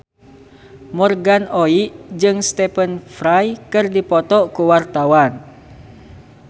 Morgan Oey jeung Stephen Fry keur dipoto ku wartawan